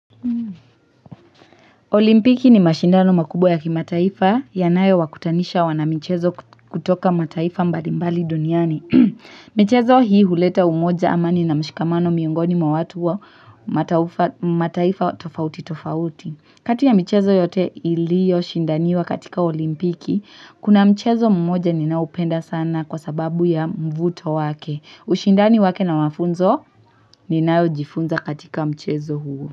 Olimpiki ni mashindano makubwa ya kimataifa yanayo wakutanisha wanamichezo kutoka mataifa mbali mbali duniani. Mchezo hii huleta umoja amani na mshikamano miongoni mwa watu wa mataifa tofauti tofauti. Kati ya michezo yote iliyo shindaniwa katika olimpiki, kuna mchezo mmoja ninaupenda sana kwa sababu ya mvuto wake. Ushindani wake na mafunzo ninayojifunza katika mchezo huo.